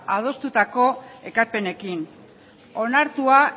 adostutako ekarpenekin onartua